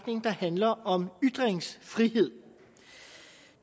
handler om ytringsfrihed